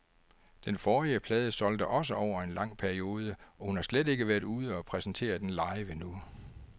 Den forrige plade solgte også over en lang periode, og hun har slet ikke været ude og præsentere den live endnu.